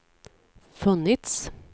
funnits